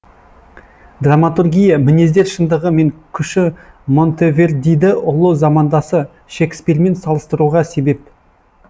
драматургия мінездер шындығы мен күші монтевердиді ұлы замандасы шекспирмен салыстыруға себеп